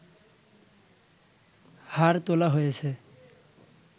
হাড় তোলা হয়েছে